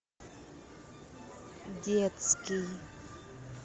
детский